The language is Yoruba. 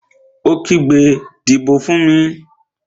Ó kígbe, "Dìbò fún mi!"